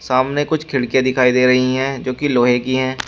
सामने कुछ खिड़कियां दिखाई दे रही हैं जो कि लोहे की हैं।